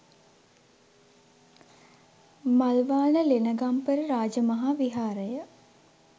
Malwana Lenagampala Rajamaha Viharaya